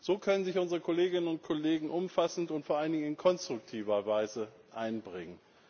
So können sich unsere Kolleginnen und Kollegen umfassend und vor allen Dingen in konstruktiver Weise einbringen.